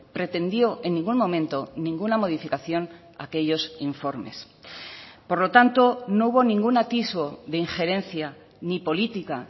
pretendió en ningún momento ninguna modificación a aquellos informes por lo tanto no hubo ningún atisbo de injerencia ni política